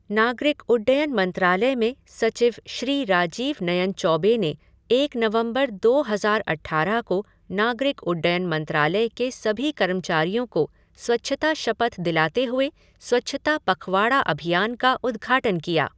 नागरिक उड्डयन मंत्रालय में सचिव श्री राजीव नयन चौबे ने एक नवंबर दो हज़ार अट्ठारह को नागरिक उड्डयन मंत्रालय के सभी कर्मचारियों को स्वच्छता शपथ दिलाते हुए स्वच्छता पखवाड़ा अभियान का उद्घाटन किया।